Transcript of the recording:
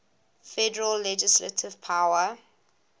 federal legislative power